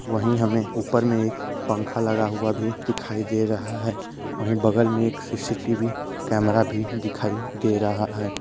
वही हमें ऊपर में एक पंखा लगा हुआ भी दिखाई दे रहा है वही बगल में एक सी.सी.टी.वी कैमरा भी दिखाई दे रहा है।